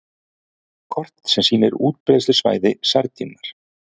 Kort sem sýnir útbreiðslusvæði sardínunnar.